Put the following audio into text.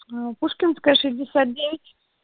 пушкинская шестьдесят девять